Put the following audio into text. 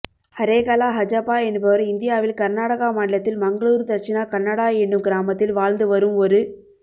ஹரேகலா ஹஜப்பா என்பவர் இந்தியாவில் கர்நாடகா மாநிலத்தில் மங்களூரு தட்சிணா கன்னடா எனும் கிராமத்தில் வாழ்ந்து வரும் ஒரு